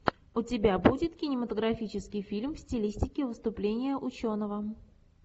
у тебя будет кинематографический фильм в стилистике выступления ученого